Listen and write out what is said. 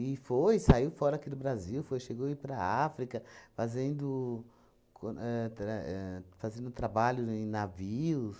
foi, saiu fora aqui do Brasil, foi chegou ir para África fazendo com ahn tra ahn fazendo trabalho em navios.